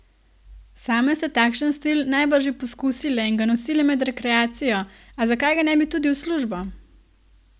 Same ste takšen stil najbrž že poskusile in ga nosile med rekreacijo, a zakaj ga ne bi tudi v službo?